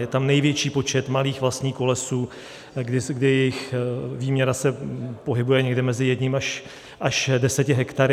Je tam největší počet malých vlastníků lesů, kdy jejich výměra se pohybuje někde mezi jedním až deseti hektary.